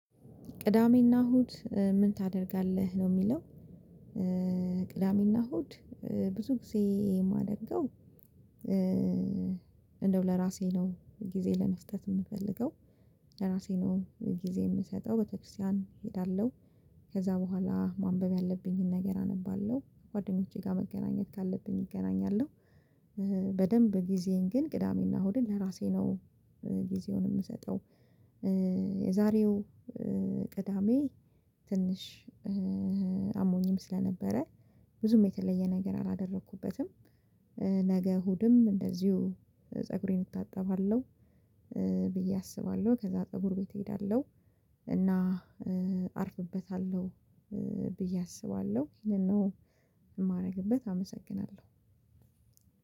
ቅዳሜና እሁድ ምን ታደርጋለህ ነው የሚለው? ቅዳሜና እሁድ ብዙ ጊዜ የማደርገው። እንደው ለራሴ ነው ጊዜ ለመስጠት የምፈልገው ለራሴ ነው ጊዜ የምሰጠው ቤተክርስቲያን እሄዳለሁ። ከዛ በኋላ ማንበብ ያለብኝን ነገር አነባለሁ ጓደኞቼ ጋር መገናኘት ካለብኝ እገናኛለሁ። በደንብ ጊዜን ግን ቅዳሜና እሁድን ለራሴ ነው ጊዜውን የምሰጠው። የዛሬው ቅዳሜ ትንሽ አሞኝም ስለነበረ ብዙም የተለየ ነገር አላደረኩበትም። ነገ እሁድም እንደዚሁ ፀጉሬን እታጠባለሁ ብዬ አስባለሁ ከዛ ፀጉር ቤት እሄዳለሁ እና አርፍበታለሁ ብዬ አስባለሁ ይሄንን ነው። የማደርግበት አመሰግናለሁ።